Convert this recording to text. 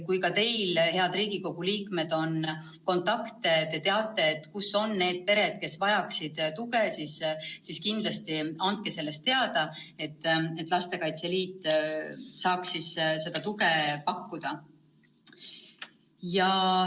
Kui ka teil, head Riigikogu liikmed, on kontakte, te teate, kus on need pered, kes vajaksid tuge, siis kindlasti andke sellest teada, et Lastekaitse Liit saaks seda tuge pakkuda.